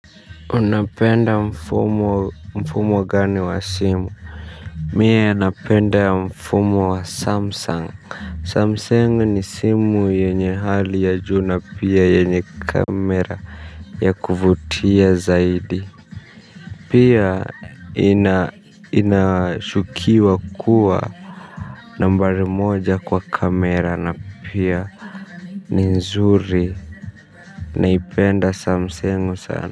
Unapenda mfumo gani wa simu mie napenda mfumo wa samsung samsung ni simu yenye hali ya juu na pia yenye kamera ya kuvutia zaidi. Pia inashukuliwa kuwa nambari moja kwa kamera na pia ni nzuri naipenda samsung sana. Kwa hivyo.